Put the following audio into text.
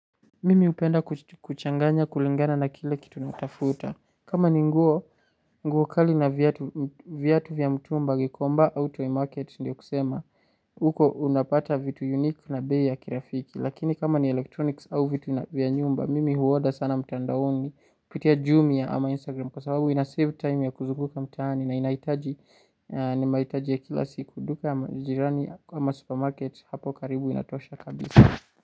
Mimi hupenda kuchanganya kulingana na kile kitu natafuta. Kama ni nguo, nguo kali na viatu vya mtumba gikomba au toy market ndio kusema huko unapata vitu unique na bei ya kirafiki. Lakini kama ni elektroniki au vitu vya nyumba Mimi huu oda sana mtandaoni kupitia Jumia ama Instagram. Kwa sababu inasave time ya kuzunguka mtaani na inahitaji. Nimahitaji ya kila siku duka ama jirani ama supermarket hapo karibu inatosha kabisa.